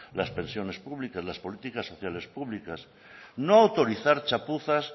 las pensiones públicas las políticas sociales públicas no autorizar chapuzas